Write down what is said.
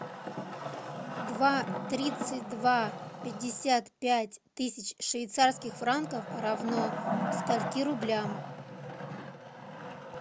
два тридцать два пятьдесят пять тысяч швейцарских франков равно скольки рублям